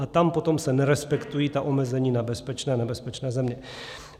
A tam potom se nerespektují ta omezení na bezpečné a nebezpečné země.